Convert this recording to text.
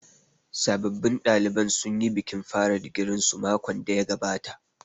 Sabbin ɗaliban sun yi bikin fara digirin su makon da ya gabata